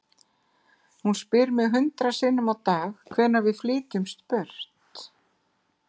Hún spyr mig hundrað sinnum á dag, hvenær við flytjumst burt.